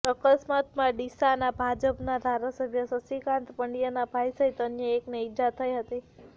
અકસ્માતમાં ડીસાના ભાજપના ધારાસભ્ય શશિકાન્ત પંડયાના ભાઈ સહીત અન્ય એકને ઈજા થઈ હતી